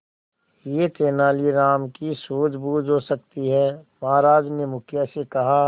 यह तेनालीराम की सूझबूझ हो सकती है महाराज ने मुखिया से कहा